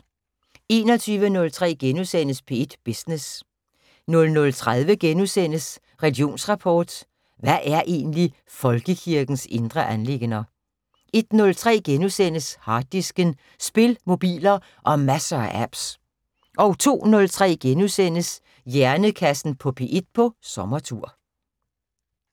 21:03: P1 Business * 00:30: Religionsrapport: Hvad er egentlig folkekirkens indre anliggender? * 01:03: Harddisken: Spil, mobiler og masser af apps * 02:03: Hjernekassen på P1 på sommertur *